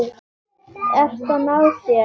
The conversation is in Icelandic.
Ert að ná þér.